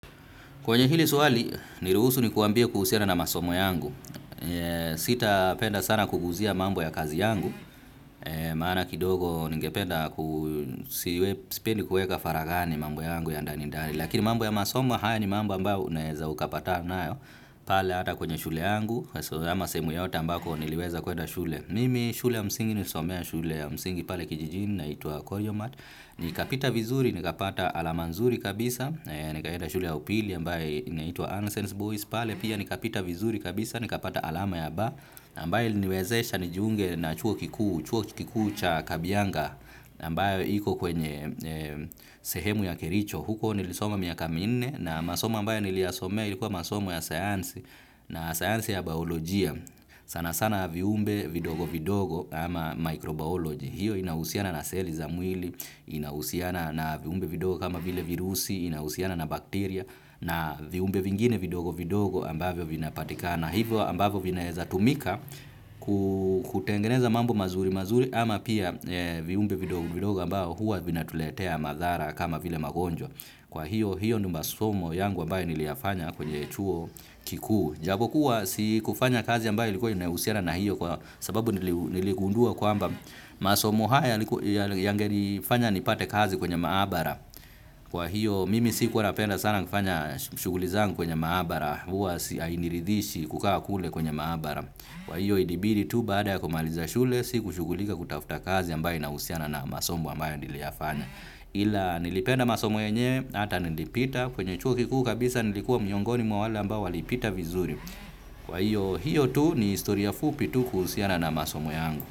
Kwenye hili swali, niruhusu nikuambie kuhusiana na masomo yangu. Sitapenda sana kuguzia mambo ya kazi yangu. Maana kidogo ningependa ku sipendi kuweka faraghani mambo yangu ya ndani ndani. Lakini mambo ya masomo haya ni mambo ambayo unaweza ukapata nayo. Pale ata kwenye shule yangu. So ama sehemu yoyote ambako niliweza kwenda shule. Mimi shule ya msingi nilisomea shule ya msingi pale kijijini inaitwa Koyoma. Ni kapita vizuri, ni kapata alama nzuri kabisa. Nikaenda shuli ya upili ya ambae inaitua Unsense Boys, pale pia nikapita vizuri kabisa, nikapata alama ya ba, ambae iliniwezesha nijunge na chuo kikuu, chuo kikuu cha Kabiyanga, na ambae iko kwenye sehemu ya kericho, huko nilisoma miaka minne, na masoma mbae niliasomea ilikuwa masoma ya sayansi, na sayansi ya biolojia, sana sana viumbe vidogo vidogo ama microbiology. Hiyo inahusiana na seli za mwili, inahusiana na viumbe vidogo kama bile virusi, inahusiana na bakteria na viumbe vingine vidogo vidogo ambavyo vinapatika. Na hivyo ambavyo vinaeza tumika kutengeneza mambo mazuri mazuri ama pia viumbe vidogo ambavyo huwa vinatuletea madhara kama bile magonjwa. Kwa hiyo, hiyo ndiovmasomo h ambaye niliyafanya kwenye chuo kikuu. Japo kuwa, si kufanya kazi ambaye ilikuwa inahusiana na hiyo kwa sababu niligundua kwamba masomo haya yangenifanya nipate kazi kwenye maabara. Kwa hiyo, mimi sikuwa napenda sana kufanya shughuli zangu kwenye maabara. Huwa si ainiridhishi kukawa kule kwenye maabara. Kwa hiyo, ilibidi tu baada ya kumaliza shule, si kushugulika kutafuta kazi ambaye inahusiana na masomo ambaye niliafanya. Ila nilipenda masomo yenyewe hata nilipita kwenye chuo kikuu kabisa nilikuwa miongoni mwa wale ambao walipita vizuri kwa hiyo tu ni historia fupi tu kuhusiana na masomo yangu.